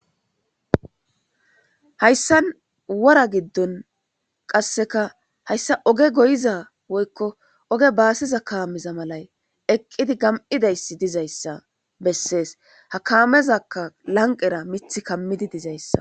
Hayssan wora giddon qasseka hasyssa oge goyiza woykko oge baasiza kaameza malay eqqidi gam7izayssi dizayssa bessees. Ha kaamezakka lanqqera mithi kammizdi dizayssa.